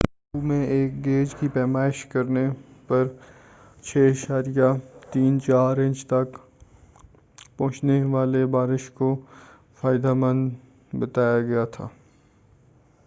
Oahu میں ایک gauge کی پیمائش کرنے پر 6.34 انچ تک پہنچنے والی بارش کو فائدہ مند بتایا گیا تھا